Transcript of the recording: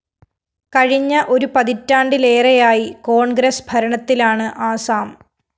കഴിഞ്ഞ ഒരു പതിറ്റാണ്ടിലേറെയായി കോണ്‍ഗ്രസ് ഭരണത്തിലാണ് ആസാം